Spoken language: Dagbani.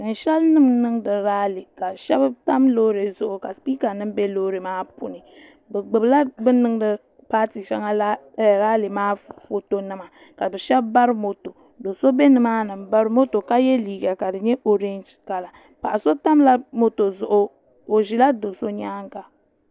tiŋ shɛli nim n niŋdi raali ka shab tam loori zuɣu ka sipiika nim bɛ loori maa puuni bi gbubila bi ni niŋdi paati shɛŋa raali maa foto nima ka bi shab bari moto do so bɛ nimaani n bari moto ka yɛ liiga ka di nyɛ oorɛnji kala paɣa so tamla moto zuɣu o ʒila do so nyaanga